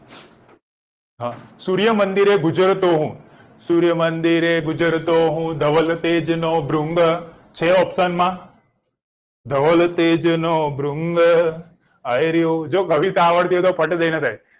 સૂર્ય મંદિર એ ગુજરતો હું સૂર્ય મંદિરે ગુજરતો હું ધવલ તેજનો ભ્રુઘ છે option માં ધવલ તેજનો ભ્રુઘ આ રહ્યો જો કવિતા આવડતી હોય તો ફટ રહીને થાય